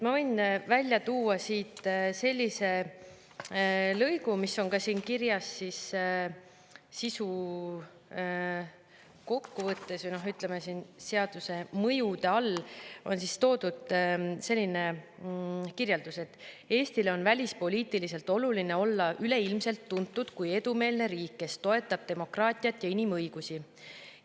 Ma võin välja tuua sellise lõigu, mis on kirjas sisukokkuvõttes, või ütleme, siin seaduse mõjude all on toodud selline kirjeldus: "Eestile on välispoliitiliselt oluline olla üleilmselt tuntud kui edumeelne riik, kes toetab demokraatiat ja inimõigusi.